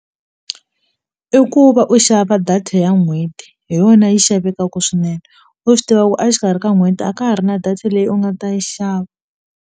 I ku va u xava data ya n'hweti hi yona yi xavekaku swinene u swi tiva ku a xikarhi ka n'hweti a ka ha ri na data leyi u nga ta yi xava.